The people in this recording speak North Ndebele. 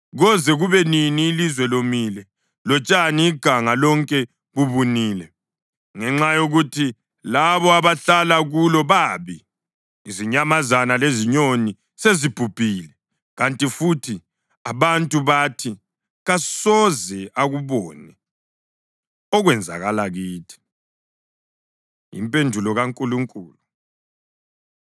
Koze kube nini ilizwe lomile lotshani iganga lonke bubunile? Ngenxa yokuthi labo abahlala kulo babi, izinyamazana lezinyoni sezibhubhile. Kanti futhi abantu bathi, “Kasoze akubone okwenzakala kithi.” Impendulo KaNkulunkulu